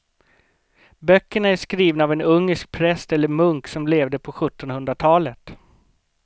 Böckerna är skrivna av en ungersk präst eller munk som levde på sjuttonhundratalet.